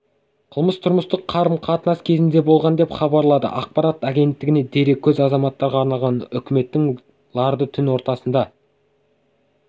қылмыс тұрмыстық қарым-қатынас кезінде болған деп хабарлады ақпарат агенттігіне дереккөз азаматтарға арналған үкіметтің лардың түн ортасына